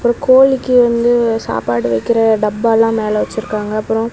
ஒரு கோழிக்கு வந்து சாப்பாடு வக்கிர டப்பாலா மேல வச்சிருக்காங்க அப்புரோ.